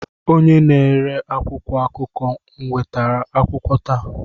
Onye na-ere akwụkwọ akụkọ ewetala akwụkwọ taa?